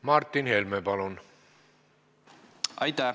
Martin Helme, palun!